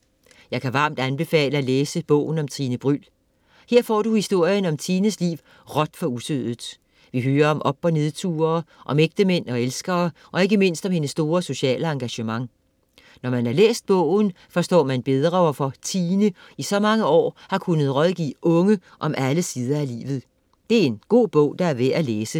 Jeg kan varmt anbefale at læse bogen om Tine Bryld. Her får du historien om Tines liv råt for usødet. Vi hører om op og nedture, om ægtemænd og elskere og ikke mindst om hendes store sociale engagement. Når man har læst bogen, forstår man bedre, hvorfor Tine i så mange år har kunnet rådgive unge om alle sider af livet. Det er en god bog, der er værd at læse.